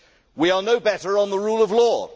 We are no better on the rule of law.